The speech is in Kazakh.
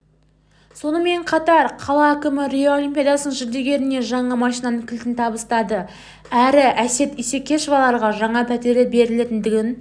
сонымен қатар қала әкімі рио олимпиадасының жүлдегерлерінежаңа машинаның кілтін табыстады әрі әсет исекешеволарға жаңа пәтерлер берілетіндігін